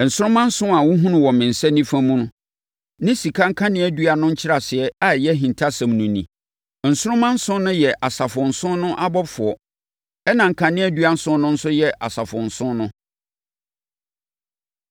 Nsoromma nson a wohunu wɔ me nsa nifa mu ne sika nkaneadua no nkyerɛaseɛ a ɛyɛ ahintasɛm no ni; Nsoromma nson no yɛ asafo nson no abɔfoɔ, ɛnna nkaneadua nson no nso yɛ asafo nson no.”